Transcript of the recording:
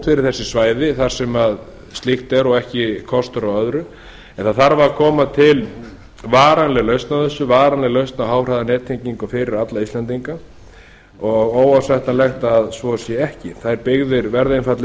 fyrir þessi svæði þar sem slíkt er og ekki kostur á öðru en það þarf að koma til varanleg lausn á þessu varanleg lausn á háhraðanettengingu fyrir alla íslendinga og óásættanlegt að svo sé ekki þær byggðir verða einfaldlega